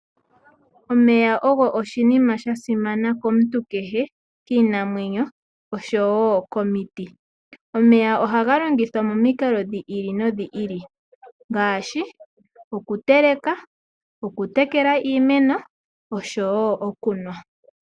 Omeya ogo oshinima shasimana komuntu kehe, kiinamwenyo oshowo komiti. Omeya ohaga longithwa momikalo dhi ili nodhi ili ngaashi okuteleka ,,okutekela iimeno oshowo okunwa.